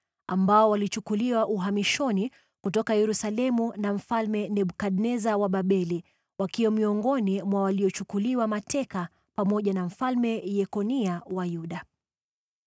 ambao walichukuliwa uhamishoni kutoka Yerusalemu na Mfalme Nebukadneza wa Babeli, wakiwa miongoni mwa waliochukuliwa mateka pamoja na Mfalme Yekonia wa Yuda.